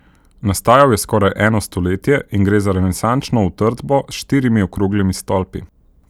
Nastajal je skoraj eno stoletje in gre za renesančno utrdbo s štirimi okroglimi stolpi.